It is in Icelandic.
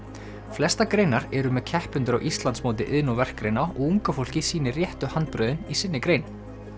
flestar greinar eru með keppendur á Íslandsmóti iðn og verkgreina og unga fólkið sýnir réttu handbrögðin í sinni grein